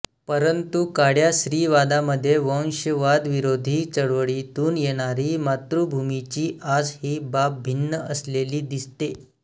परंतु काळ्या स्त्रीवादामध्ये वंशवादविरोधी चळवळीतून येणारी मातृभूमीची आस ही बाब भिन्न असलेली दिसते